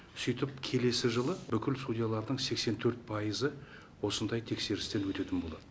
сөйтіп келесі жылы бүкіл судьялардың сексен төрт пайызы осындай тексерістен өтетін болады